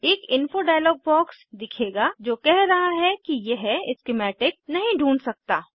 एक info dialog box दिखेगा जो कह रहा है कि यह स्किमैटिक नहीं ढूँढ सकता